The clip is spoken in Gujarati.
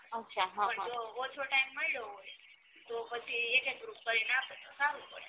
ઉહ છ ઓછો time મળ્યો હોય તો પછી એક એક group કરીને આપે તો સારું પડે